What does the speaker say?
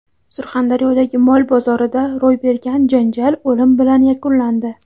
Surxondaryodagi mol bozorida ro‘y bergan janjal o‘lim bilan yakunlandi.